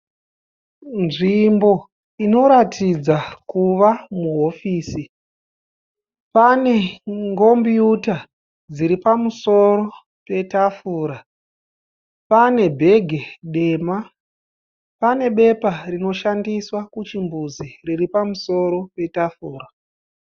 Nzvimbo ino ratidza kuva muhovisi. Pane ngombuyuta dziri pamusoro petafura. Pane bhege dema , pane bepa rino shandiswa kuchimbuzi riri pamusoro petafura.